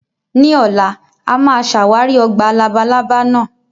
Ní ọ̀la, a máa ṣàwárí ọgbà labalábá náà